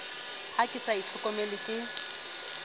ha ke sa itlhokomele ke